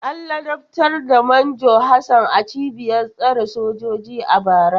An ladabtar da Manjo Hassan a cibiyar tsare sojoji a bara.